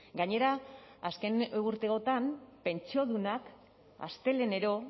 gainera azken urteotan pentsiodunak astelehenero